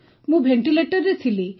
ମୁଁ ଭେଣ୍ଟିଲେଟରରେ ଥିଲି